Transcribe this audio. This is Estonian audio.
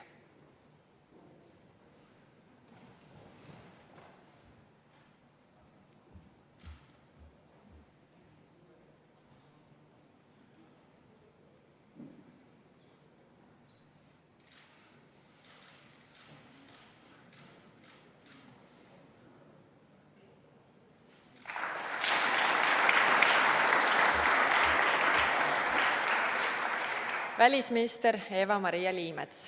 Välisminister Eva-Maria Liimets.